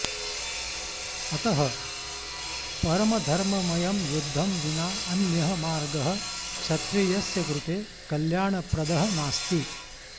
अतः परमधर्ममयं युद्धं विना अन्यः मार्गः क्षत्रियस्य कृते कल्याणप्रदः नास्ति